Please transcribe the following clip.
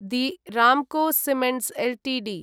धी Ramco Cements Ltd